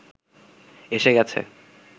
এসে গেছে